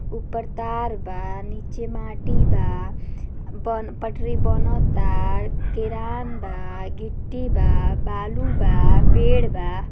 ऊपर तार बा नीचे माटी बा बोन पटरी बनता किरान बा गिट्टी बा बालू बा पेड़ बा।